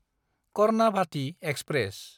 Karnavati express